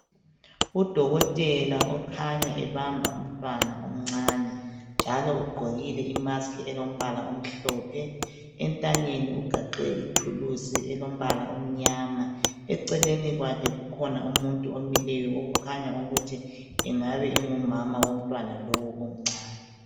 Udokotela okhanya ebamba umntwana omncane njalo ugqokile imusk elombala omhlophe entanyeni ugaxe ithuluzi elombala omnyama eceleni kwakhe kukhona umuntu omileyo okukhanya ukuthi engabe engumama womntwana lowu omncane.